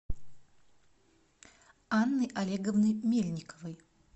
анны олеговны мельниковой